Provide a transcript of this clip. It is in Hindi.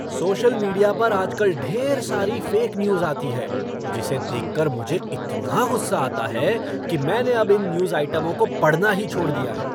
सोशल मीडिया पर आजकल ढेर सारी फ़ेक न्यूज़ आती है जिसे देख कर मुझे इतना गुस्सा आता है कि मैंने अब इन न्यूज़ आइटमों को पढ़ना ही छोड़ दिया है।